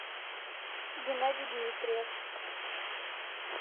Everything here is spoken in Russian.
геннадий дмитриев